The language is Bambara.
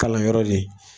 Kalanyɔrɔ le